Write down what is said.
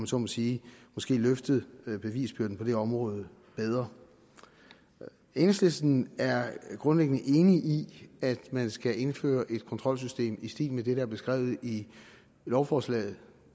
så må sige løftet bevisbyrden på det område bedre enhedslisten er grundlæggende enig i at man skal indføre et kontrolsystem i stil med det der er beskrevet i lovforslaget